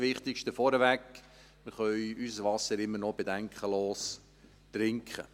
Das Wichtigste vorneweg: Wir können unser Wasser immer noch bedenkenlos trinken.